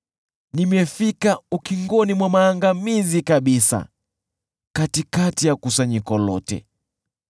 Nimefika ukingoni mwa maangamizi kabisa katikati ya kusanyiko lote.”